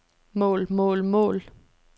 mål mål mål